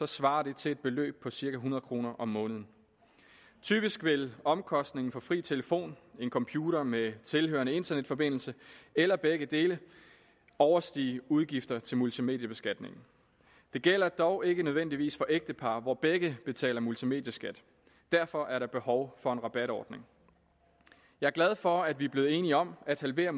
svarer det til et beløb på cirka hundrede kroner om måneden typisk vil omkostningen for fri telefon en computer med tilhørende internetforbindelse eller begge dele overstige udgifter til multimediebeskatningen det gælder dog ikke nødvendigvis for ægtepar hvor begge betaler multimedieskat og derfor er der behov for en rabatordning jeg er glad for at vi er blevet enige om at halvere